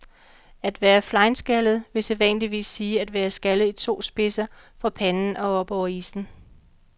At være flenskaldet vil sædvanligvis sige at være skaldet i to spidser fra panden op over issen.